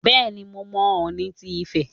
Bẹ́ẹ̀ni, mo mọ Ọọ̀ni ti Ifẹ̀.